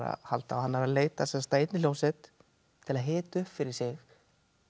halda og hann er að leita að einni hljómsveit til að hita upp fyrir sig á